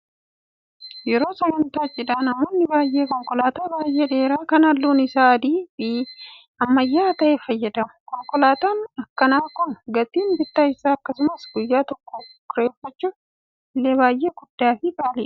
Yeroo sagantaa cidhaa namoonni baay'een konkolaataa baay'ee dheeraa kan halluun isaa adii fi ammayyaa ta'e fayyadamu. Konkolaataan akkanaa kun gatiin bittaa isaa akkasumas guyyaa tokko kireeffachuuf illee baay'ee guddaa fi qaaliidha.